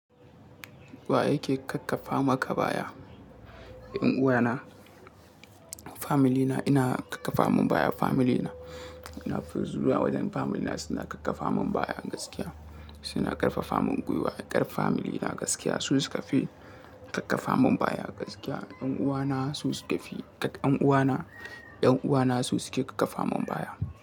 Wa yake kakkafa maka baya? 'Yan uwana. Famili na ina kakkafa mun baya. Famili na, ina finzuwa wajen famili na suna kakkafa mun baya gaskiya. Suna ƙarfafa mun gwiwa. Ƙar famili na gaskiya su suka fi karfafa mun baya gaskiya. Yan uwana su suka fi karfafa min baya. Yan uwana su suka.